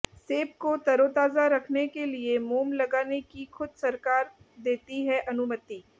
सेब को तरोताजा रखने के लिए मोम लगाने की खुद सरकार देती है अनुमति